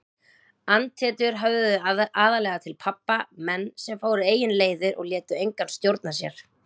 Andhetjur höfðuðu aðallega til pabba, menn sem fóru eigin leiðir og létu engan stjórna sér.